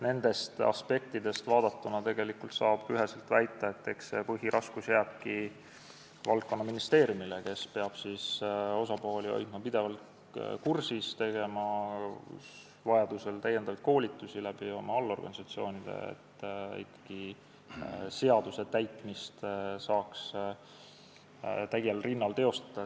Nendest aspektidest vaadatuna saab üheselt väita, et põhiraskus jääbki valdkonnaministeeriumile, kes peab osapooli hoidma pidevalt kursis ja tegema vajadusel lisakoolitusi oma allorganisatsioonides, et seaduse täitmist saaks ikkagi täiel rinnal teostada.